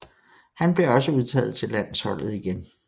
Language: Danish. Han blev også udtaget til landsholdet igen